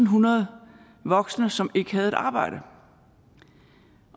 hundrede voksne som ikke havde et arbejde